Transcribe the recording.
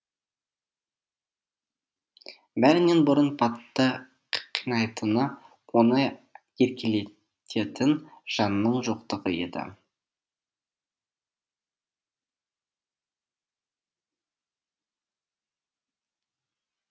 бәрінен бұрын патты қинайтыны оны еркелететін жанның жоқтығы еді